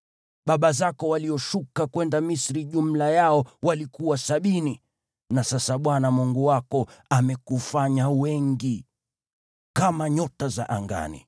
Baba zako walioshuka kwenda Misri jumla yao walikuwa sabini, na sasa Bwana Mungu wako amekufanya wengi kama nyota za angani.